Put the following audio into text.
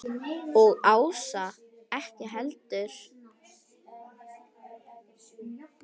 Og Ása ekki heldur.